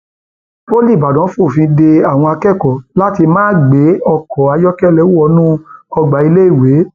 poli ìbàdàn fòfin de àwọn akẹkọọ láti máa gbé ọkọ ayọkẹlẹ wọnú ọgbà iléèwé